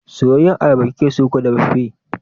Soyayyar ayaba kikeso ko dafaffe?